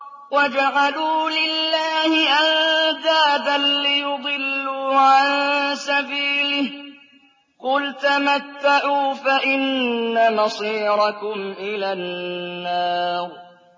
وَجَعَلُوا لِلَّهِ أَندَادًا لِّيُضِلُّوا عَن سَبِيلِهِ ۗ قُلْ تَمَتَّعُوا فَإِنَّ مَصِيرَكُمْ إِلَى النَّارِ